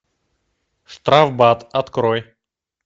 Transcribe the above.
штрафбат открой